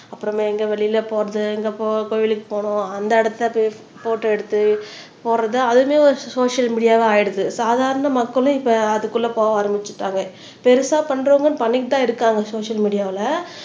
அப்புறமா எங்க வெளியில போறது எங்க போ கோவிலுக்கு போனோம் அந்த இடத்தை போட்டோ எடுத்து போடுறது அதுவுமே ஒரு சோசியல் மீடியாவா ஆயிடுது சாதாரண மக்களும் இப்ப அதுக்குள்ள போக ஆரம்பிச்சுட்டாங்க பெருசா பண்றவங்க பண்ணிட்டுதான் இருக்காங்க சோசியல் மீடியால